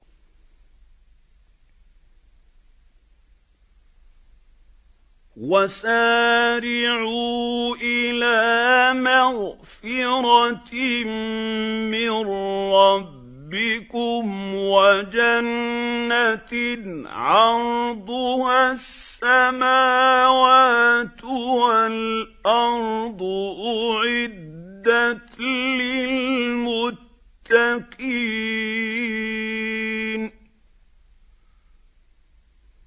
۞ وَسَارِعُوا إِلَىٰ مَغْفِرَةٍ مِّن رَّبِّكُمْ وَجَنَّةٍ عَرْضُهَا السَّمَاوَاتُ وَالْأَرْضُ أُعِدَّتْ لِلْمُتَّقِينَ